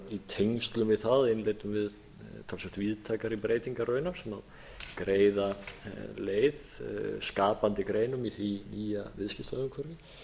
í tengslum við það innleiddum við talsvert víðtækari breytingar raunar sem greiða leið skapandi greinum í því nýja viðskiptaumhverfi